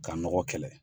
Ka nɔgɔ kɛlɛ